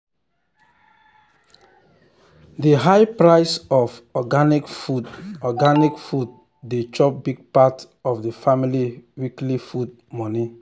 the high price of organic food organic food dey chop big part of the family weekly food money.